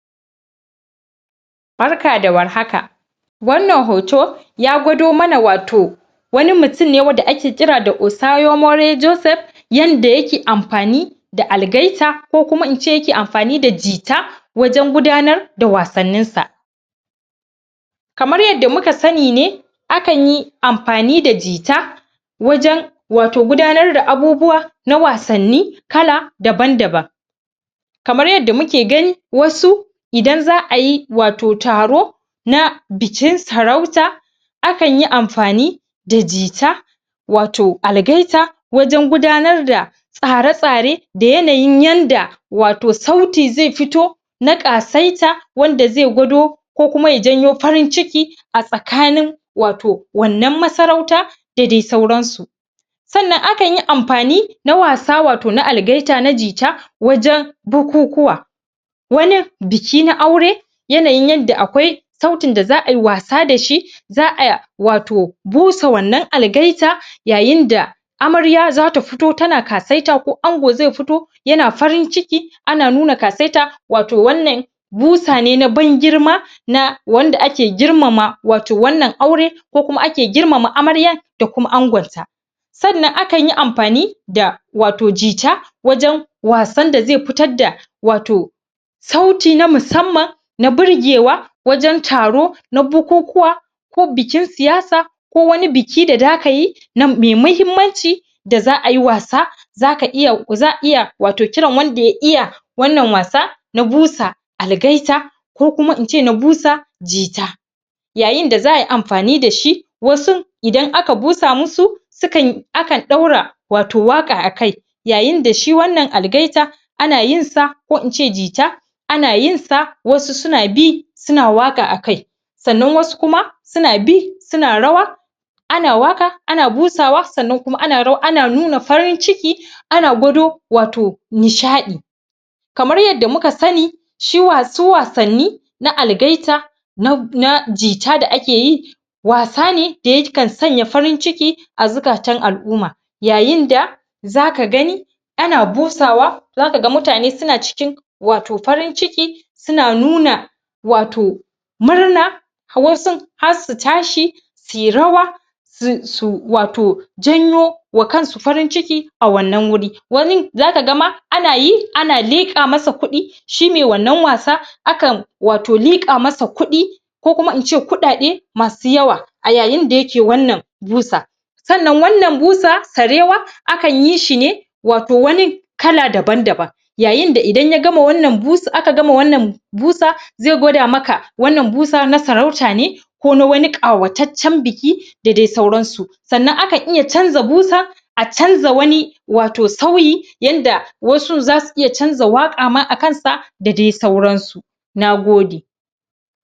barka da war haka wannan hoto ya gwado mana wato wani mutum ne wanda ake kira da osayomore joseph yanda yake amfani da algaita ko kuma in ce yake amfani da jita wajen gudanar da wasannin sa kamar yadda muka sani ne akan yi amfani da jita wajen wato gudanar da abubuwa na wasanni kala daban daban kamar yadda muke gani wasu idan za'a yi wato taro na bikin sarauta akan yi amfani da jita wato algaita wajen gudanar da tsare tsare da yanayin yanda wato sauti zai fito na kasaita wanda zai gwado ko kuma ya janyo farin ciki a tsakanin wato wannan masarauta da dai sauran su sannan akan yi amfani na wasa wato na algaita na gita wajen kukukuwa wanin biki na aure yanayin yadda akwai sautin da za'a yi wasa da shi za'a wato busa wannan algaita yayin da amarya zata fito tana kasaita ko ango zai fito yana farin ciki ana nuna kasaita wato wannan busa ne na ban girma na wanda ake girmama wato wannan aure ko kuma ake girmama amarya da kuma angonta sannan akan yi amfani da wato jita wajen wasan da zai fitar da wato sauti na musamman na birgewa wajen taro na bukukuwa ko bikin siyasa ko wani biki da zaka yi mai mahimmanci da za'a yi wasa za'a iya wato kiran wanda ya iya wannan wasa na busa algaita ko kuma in ce na busa jita yayin da za'a yi amfani dashi wasun idan aka busa musu akan daura wato waka akai yayin da shi wannan algaita ana yin sa ko in ce jita ana yin sa wasu suna bi suna waka a kai sannan wasu kuma suna bi suna rawa ana waka ana busa sannan kuma ana nuna farin ciki ana gwado wato nishadi kamar yadda muka sani su wasanni su algaita na jita da ake yi wasa ne da yakan sanya farin ciki a zukatan al'uma yayin da zaka gani ana busa wa zakaga mutane suna cikin wato farin ciki suna nuna wato murna wasun har su tashi suyi rawa su wato janyo wa kansu farin ciki a wannan wuri wanin zakaga mah ana yi ana lika masa kudi shine wannan wasa akan wato lika masa kudi ko kuma in ce kudade masu yawa a yayin da yake wannan musa sannan wannan busa sarewa akan yi shi ne wato wanin kala daban daban yayin da idan aka gama wannan busa zai gwada maka wannan busa na sarauta ne ko na wani kawataccen biki da dai sauran su sannan akan iya canza busa a canza wani wao sauyi yanda wasun zasu iya canza waka ma akan sa da dai sauran su nagode